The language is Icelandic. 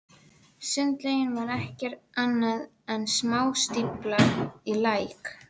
Sundlaugin var ekki annað en smástífla í læk.